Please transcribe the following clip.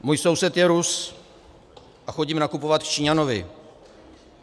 Můj soused je Rus a chodím nakupovat k Číňanovi.